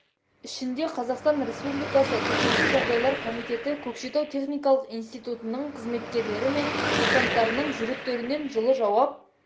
ішінде қазақстан республикасы төтенше жағдайлар комитеті көкшетау техникалық институтының қызметкерлері мен курсанттарының жүректерінен жылы жауап